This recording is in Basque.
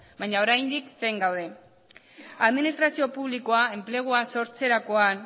baina oraindik zain gaude administrazio publikoa enplegua sortzerakoan